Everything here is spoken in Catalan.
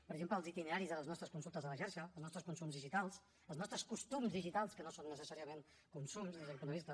per exemple els itineraris de les nostres consultes a la xarxa els nostres consums digitals els nostres costums digitals que no són necessàriament consums des d’aquest punt de vista